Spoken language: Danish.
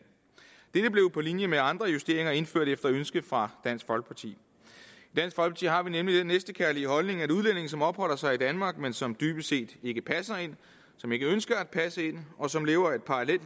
dette blev på linje med andre justeringer indført efter ønske fra dansk folkeparti i har vi nemlig den næstekærlige holdning at udlændinge som opholder sig i danmark men som dybest set ikke passer ind som ikke ønsker at passe ind og som lever et